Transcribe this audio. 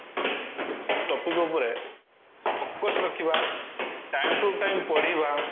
topic ଉପରେ focus ରଖିବା time to time ପଢିବା